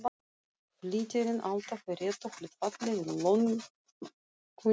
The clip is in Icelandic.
Flýtirinn alltaf í réttu hlutfalli við löngunina.